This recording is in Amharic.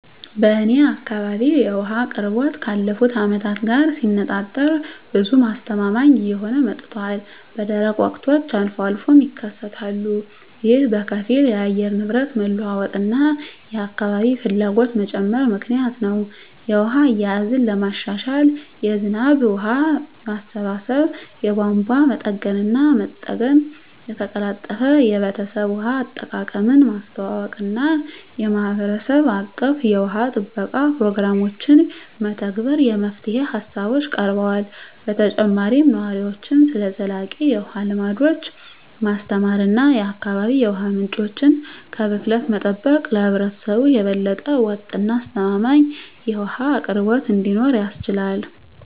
በእኔ አካባቢ የውሃ አቅርቦት ካለፉት አመታት ጋር ሲነፃፀር ብዙም አስተማማኝ እየሆነ መጥቷል፣ በደረቅ ወቅቶች አልፎ አልፎም ይከሰታሉ። ይህ በከፊል የአየር ንብረት መለዋወጥ እና የአካባቢ ፍላጎት መጨመር ምክንያት ነው. የውሃ አያያዝን ለማሻሻል የዝናብ ውሃ ማሰባሰብ፣ የቧንቧ መጠገንና መጠገን፣ የተቀላጠፈ የቤተሰብ ውሃ አጠቃቀምን ማስተዋወቅ እና የማህበረሰብ አቀፍ የውሃ ጥበቃ ፕሮግራሞችን መተግበር የመፍትሄ ሃሳቦች ቀርበዋል። በተጨማሪም ነዋሪዎችን ስለ ዘላቂ የውሃ ልምዶች ማስተማር እና የአካባቢ የውሃ ምንጮችን ከብክለት መጠበቅ ለህብረተሰቡ የበለጠ ወጥ እና አስተማማኝ የውሃ አቅርቦት እንዲኖር ያስችላል።